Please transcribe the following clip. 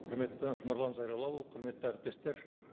құрметті нұрлан зайроллаұлы құрметті әріптестер